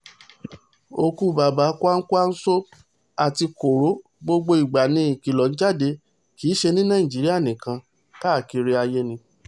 òkú bàbá kwakwanko àti koro gbogbo ìgbà ni ìkìlọ̀ ń jáde kì í ṣe ní nàìjíríà nìkan kárí ayé ni